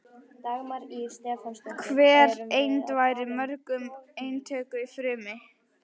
Hver eind væri í mörgum eintökum í frumu.